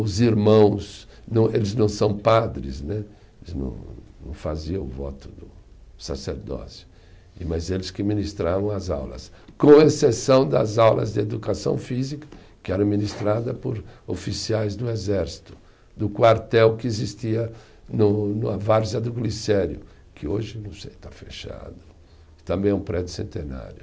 Os irmãos não, eles não são padres né, eles não não faziam o voto do sacerdócio, mas eles que ministravam as aulas, com exceção das aulas de educação física, que eram ministradas por oficiais do exército, do quartel que existia no na várzea do Glicério, que hoje não sei, está fechado, também é um prédio centenário.